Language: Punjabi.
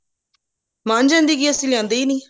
ਮੰਨ ਜਾਂਦੀ ਕਿ ਅਸੀਂ ਲਿਆਂਦੇ ਹੀ ਨਹੀਂ